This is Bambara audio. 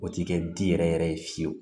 O ti kɛ di yɛrɛ yɛrɛ ye fiyewu